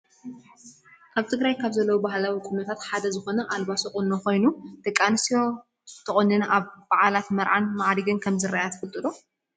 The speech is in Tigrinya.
ኣብ ትግራይ ካብ ዘለው ባህላዊ ቁኖታት ሓደ ዝኮነ ኣልባሶ ቁኖ ኮይኑ ደቂ ኣንስትዮ ተቆኒነን ኣብ ባዓላትን መርዓን ማዕሪገን ከም ዝራአያ ትፈልጡ ዶ?